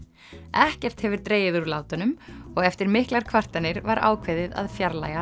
ekkert hefur dregið úr látunum og eftir miklar kvartanir var ákveðið að fjarlægja